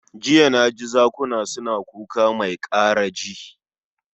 Jiya na ji zakuna suna kuka mai karaji